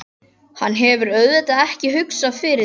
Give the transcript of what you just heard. Hann hefur auðvitað ekki hugsað fyrir því?